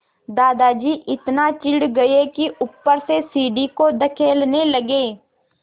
दादाजी इतना चिढ़ गए कि ऊपर से सीढ़ी को धकेलने लगे